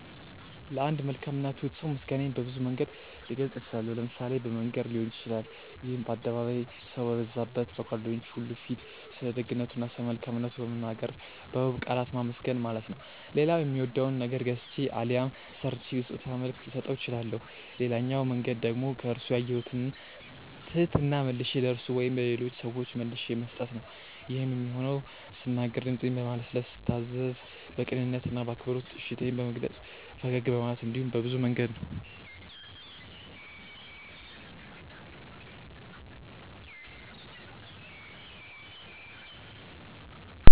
ለአንድ መልካም እና ትሁት ሰው ምስጋናዬን በብዙ መንገድ ልገልጽ እችላለሁ። ለምሳሌ በመንገር ሊሆን ይችላል ይሄም በአደባባይ፣ ሰው በበዛበት፣ በጓደኞቹ ሁሉ ፊት ስለደግነቱ እና ስለመልካምነቱ በመናገር በውብ ቃላት ማመስገን ማለት ነው። ሌላው የሚወደውን ነገር ገዝቼ አሊያም ሰርቼ በስጦታ መልክ ልሰጠው እችላለሁ። ሌላኛው መንገድ ደግሞ ከርሱ ያየሁትን ትህትና መልሼ ለርሱ ወይም ለሌሎች ሰዎች መልሼ መስጠት ነው። ይሄም የሚሆነው ስናገር ድምጼን በማለስለስ፤ ስታዘዝ በቅንነት እና በአክብሮት እሺታዬን በመግለጽ፤ ፈገግ በማለት እንዲሁም በብዙ መንገድ ነው።